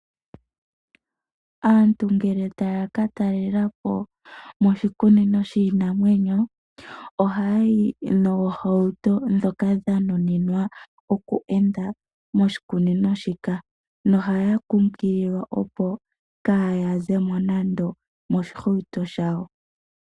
Aantu ngele taya katalela po moshikunino shiinamwenyo ohaya yi noohauto dhoka dha nuninwa oku enda moshikunino shika nohaya kukililwa opo kaaya zemo nando moshihauto shawo.